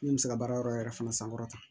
Min bɛ se ka baara yɔrɔ yɛrɛ fana sankɔrɔta